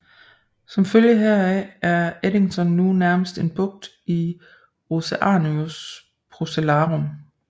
Som følge heraf er Eddington nu nærmest en bugt i Oceanus Procellarum